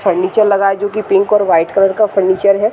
Furniture लगा है जो कि पिंक और वाइट कलर का फर्नीचर है।